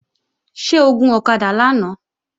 Ṣé o gun ọ̀kadà lánàá?